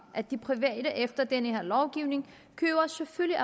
at de private aktører efter den her lovgivning selvfølgelig